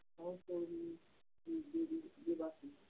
সহকর্মী দে~ দেব~ দেবাশীষ